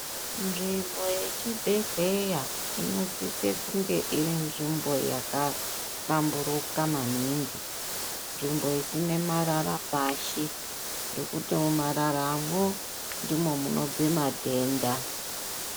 Nzbimbo hechibhehleya inosise kunge iri nzvimbo yakahlamburuka maningi .Nzvimbo isina marara pashi ngekuti mumararamo ndimo munobve matenda.